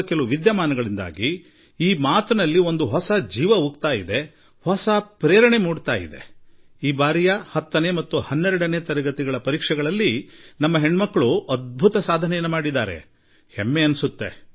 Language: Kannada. ಕೆಲವು ಘಟನೆಗಳು ಅದಕ್ಕೆ ಹೊಸ ಜೀವ ತುಂಬುತ್ತವೆ ಈ ಸಲದ 10ಹಾಗೂ 12ನೇ ತರಗತಿ ಪರೀಕ್ಷೆಗಳ ಫಲಿತಾಂಶದಲ್ಲಿ ನಮ್ಮ ಹೆಣ್ಣು ಮಕ್ಕಳು ಭಾರೀ ಯಶಸ್ಸು ಸಾಧಿಸಿದ್ದಾರೆ ಇದು ಹೆಮ್ಮೆಯ ವಿಷಯವಾಗಿದೆ